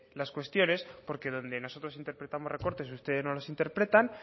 las cuestiones porque donde nosotros interpretamos recortes ustedes no los interpretan